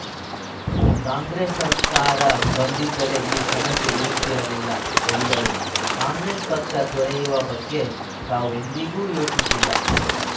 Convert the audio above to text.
ಕಾಂಗ್ರೆಸ್‌ ಸರಕಾರ ಬಂದಿದ್ದರೆ ಈ ಸಮಸ್ಯೆ ಇರುತ್ತಿರಲಿಲ್ಲ ಎಂದರು ಕಾಂಗ್ರೆಸ್‌ ಪಕ್ಷ ತೊರೆಯುವ ಬಗ್ಗೆ ತಾವು ಎಂದಿಗೂ ಯೋಚಿಸಿಲ್ಲ